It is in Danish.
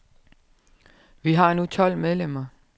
Vi har nu tolv medlemmer.